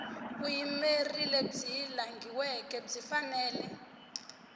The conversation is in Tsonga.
vuyimeri lebyi langhiweke byi fanele